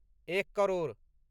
एक करोड़